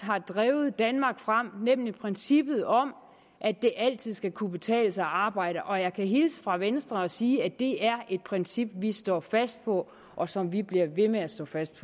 har drevet danmark frem nemlig princippet om at det altid skal kunne betale sig at arbejde jeg kan hilse fra venstre og sige at det er et princip vi står fast på og som vi bliver ved med at stå fast